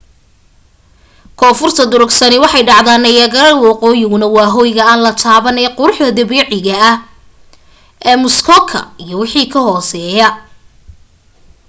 koonfurta durugsani waxay dhacdaa niagara woqooyiguna waa hoyga aan la taaban ee quruxda dabiiciga ah ee muskoka iyo wixii ka hoseya